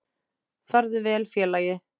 Farðu vel félagi.